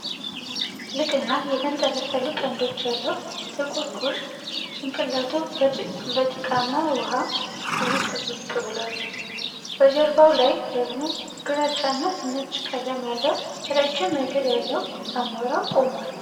ትልቅና የተንጠለጠሉ ቀንዶች ያለው ጥቁር ጎሽ ጭንቅላቱ በጭቃማ ውሃ ውስጥ ብቅ ብሏል። በጀርባው ላይ ደግሞ ግራጫና ነጭ ቀለም ያለው ረጅም እግር ያለው አሞራ ቆሟል።